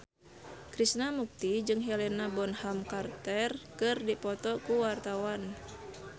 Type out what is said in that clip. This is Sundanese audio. Krishna Mukti jeung Helena Bonham Carter keur dipoto ku wartawan